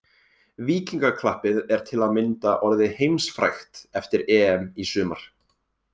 Víkingaklappið er til að mynda orðið heimsfrægt eftir EM í sumar.